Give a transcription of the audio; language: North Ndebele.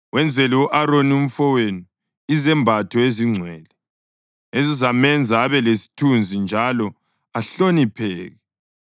Wenzele u-Aroni umfowenu izembatho ezingcwele, ezizamenza abe lesithunzi njalo ahlonipheke.